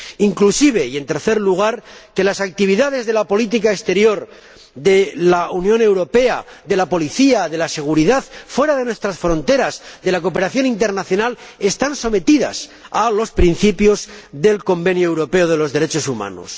Inclusive las actividades de la política exterior de la Unión Europea, de la policía, de la seguridad fuera de nuestras fronteras, de la cooperación internacional, están sometidas a los principios del Convenio Europeo de Derechos Humanos.